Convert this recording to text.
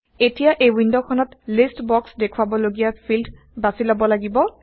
এতিয়া এই ৱিণ্ডখনত লিষ্ট বক্সত দেখুওৱাব লগীয়া ফিল্ড বাচি লব লাগিব